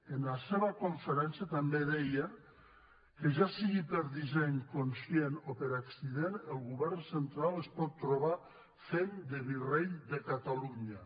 en la seva conferència també deia que ja sigui per disseny conscient o per accident el govern central es pot trobar fent de virrei de catalunya